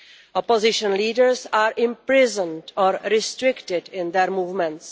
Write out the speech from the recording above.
Opposition leaders are imprisoned or restricted in their movements.